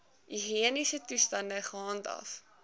higiëniese toestande gehandhaaf